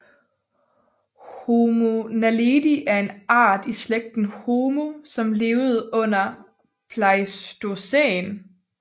Homo naledi er en art i slægten Homo som levede under pleistocæn